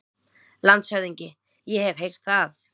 LANDSHÖFÐINGI: Ég hef heyrt það.